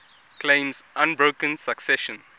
claims unbroken succession